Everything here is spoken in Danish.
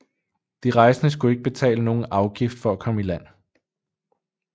De rejsende skulle ikke betale nogen afgift for at komme i land